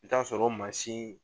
I bɛ taa sɔrɔ o mansin